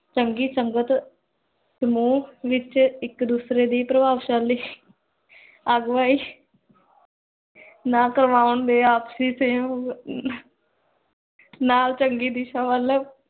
ਸੰਗੀ ਸੰਗਤ ਸਮੂਹ ਵਿਚ ਇਕ ਦੂਸਰੇ ਦੀ ਪ੍ਰਬਾਵ੍ਸ਼ਾਲੀ ਅਹਗਵਾਯੀ ਨਾ ਕ੍ਰ੍ਵਾਓੰ ਦੇ, ਆਪਸੀ ਨਾਲ ਚੰਗੀ ਦਿਸ਼ਾ ਵਲ